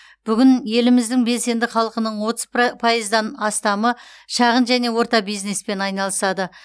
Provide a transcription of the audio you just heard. бүгін еліміздің белсенді халқының отыз про пайыздан астамы шағын және орта бизнеспен айналысады